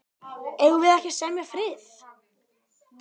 Eigum við ekki að semja frið.